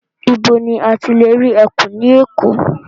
Ibo ní a ti lè rí ẹkùn ní Èkó?